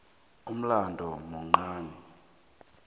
ulmlambo muncani